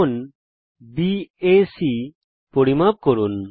কোণ বিএসি পরিমাপ করুন